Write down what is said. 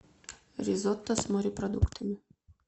ризотто с морепродуктами